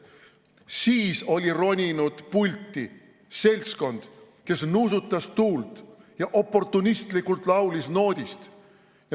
Siis oli roninud pulti seltskond, kes nuusutas tuult ja oportunistlikult laulis noodist.